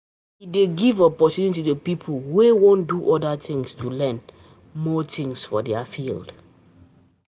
E dey give opportunity to pipo wey wan do other things to learn more things for their field